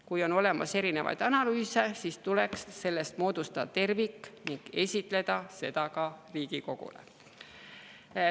Kui on olemas erinevaid analüüse, siis tuleks moodustada tervik ning esitleda seda ka Riigikogule.